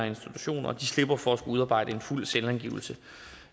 institutioner de slipper for at skulle udarbejde en fuld selvangivelse